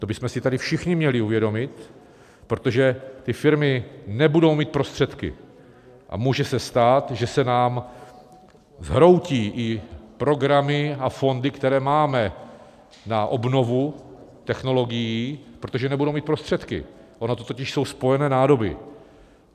To bychom si tady všichni měli uvědomit, protože ty firmy nebudou mít prostředky, a může se stát, že se nám zhroutí i programy a fondy, které máme na obnovu technologií, protože nebudou mít prostředky, ony to totiž jsou spojené nádoby.